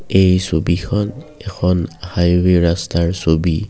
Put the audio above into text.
এই ছবিখন এখন হাইৱে ৰাস্তাৰ ছবি।